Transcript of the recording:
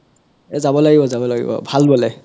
এ যাব লাগিব যাব লগিব ভাল বোলে